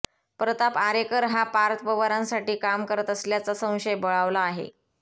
प्रताप आरेकर हा पार्थ पवारांसाठी काम करत असल्याचा संशय बळावला आहे